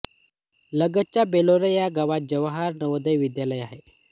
लगतच्या बेलोरा या गावात जवाहर नवोदय विद्यालय हे आहे